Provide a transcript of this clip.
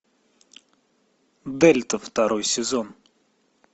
дельта второй сезон